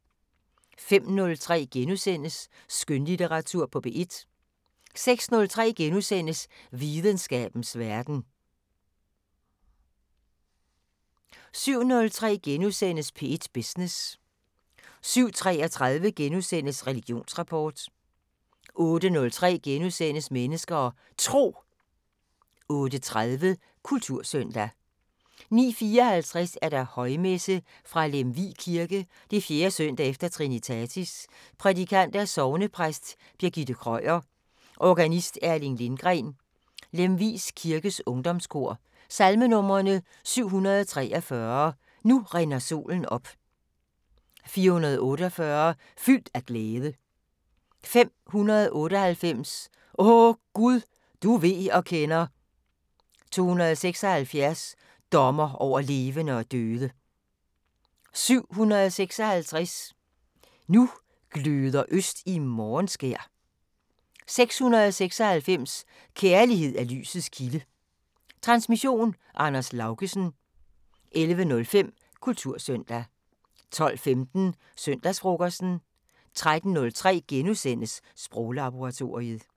05:03: Skønlitteratur på P1 * 06:03: Videnskabens Verden * 07:03: P1 Business * 07:33: Religionsrapport * 08:03: Mennesker og Tro * 08:30: Kultursøndag 09:54: Højmesse - Fra Lemvig kirke. 4. søndag efter trinitatis. Prædikant: Sognepræst Birgitte Krøyer. Organist: Erling Lindgren. Lemvig kirkes ungdomskor. Salmenumre: 743: "Nu rinder solen op". 448: "Fyldt af glæde". 598: "O Gud, du ved og kender". 276: "Dommer over levende og døde". 756: "Nu gløder øst i morgenskær". 696: "Kærlighed er lysets kilde". Transmission: Anders Laugesen. 11:05: Kultursøndag 12:15: Søndagsfrokosten 13:03: Sproglaboratoriet *